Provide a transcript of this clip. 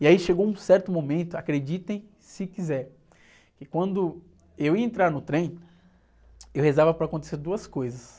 E aí chegou um certo momento, acreditem se quiser, que quando eu ia entrar no trem, eu rezava para acontecer duas coisas.